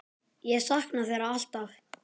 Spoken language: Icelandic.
Ég saknaði þeirra alltaf.